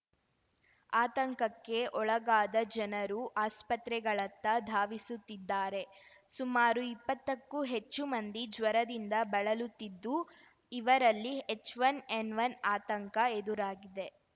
ಆತಂಕಕ್ಕೆ ಒಳಗಾದ ಜನರು ಆಸ್ಪತ್ರೆಗಳತ್ತ ಧಾವಿಸುತ್ತಿದ್ದಾರೆ ಸುಮಾರು ಇಪ್ಪತ್ತಕ್ಕೂ ಹೆಚ್ಚು ಮಂದಿ ಜ್ವರದಿಂದ ಬಳಲುತ್ತಿದ್ದು ಇವರಲ್ಲಿ ಹೆಚ್‌ವನ್ ಎನ್‌ವನ್ ಆತಂಕ ಎದುರಾಗಿದೆ